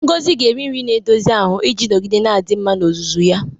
Ngozi ga-eri nri na-edozi ahụ iji nọgide na-adị mma n'ozuzu ya.